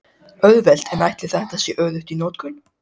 Auðvelt en ætli þetta sé öruggt í notkun?